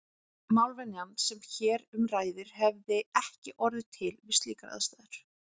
Málvenjan sem hér um ræðir hefði ekki orðið til við slíkar aðstæður.